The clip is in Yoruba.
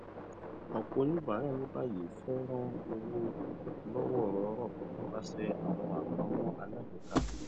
ọpọ oníbàárà ní báyìí fẹ rán owó lọwọọrọọrọ nípasẹ àwọn àpamọ alágbèéká